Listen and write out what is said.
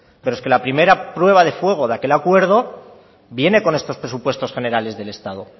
pero es que la primera prueba de fuego de aquel acuerdo viene con estos presupuestos generales del estado